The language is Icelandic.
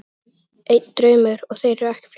Einn draumur, og þeir voru ekki fleiri.